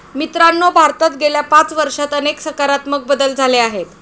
मित्रांनो, भारतात गेल्या पाच वर्षात अनेक सकारात्मक बदल झाले आहेत.